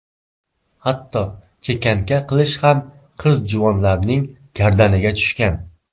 Hatto chekanka qilish ham qiz-juvonlarning gardaniga tushgan.